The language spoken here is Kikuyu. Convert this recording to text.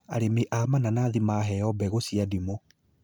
Arĩmi a mananathi maheo mbegũ cia ndimũ